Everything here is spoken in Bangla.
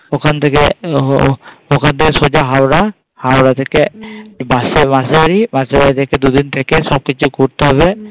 ওখান থেকে ওখান থেকে সোজা হাওড়া, হাওড়া থেকে বাসে বাসে বাড়ি থেকে দুদিন থেকে সব কিছু করতে হবে